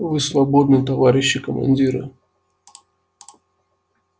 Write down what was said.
вы свободны товарищи командиры